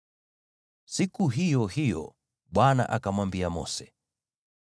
Siku hiyo hiyo Bwana akamwambia Mose,